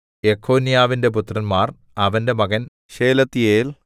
യെഖൊന്യാവിന്റെ പുത്രന്മാർ അവന്റെ മകൻ ശെയല്ത്തീയേൽ